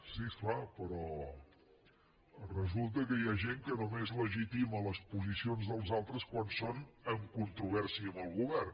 sí és clar però resulta que hi ha gent que només legitima les posicions dels altres quan són en controvèrsia amb el govern